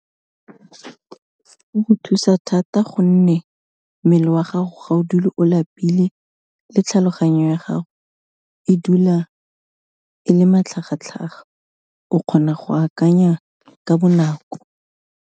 O go thusa thata gonne, mmele wa gago ga o dule o lapile le tlhaloganyo ya gago, e dula e le matlhagatlhaga, o kgona go akanya ka bonako.